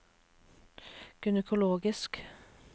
gynekologisk